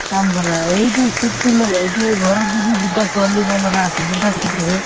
কাম কৰা এইটো seat তো লৈ এতিয়া ঘৰৰ যদি দুটা ছোৱালী বা লৰা আছে, দুটা seat আছে।